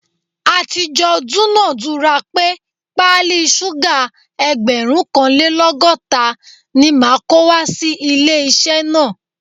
A ti jọ dúnadùrà pé pálí súgà ẹgbẹ̀rúnkanlẹ́lọ́gọ́ta ni màá kó wá sí ilé-iṣẹ́ náà